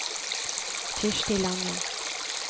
Kirsti Lange